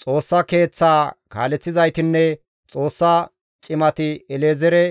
Xoossa Keeththaa kaaleththizaytinne Xoossa cimati El7ezeere